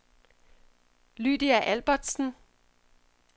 Lydia Albertsen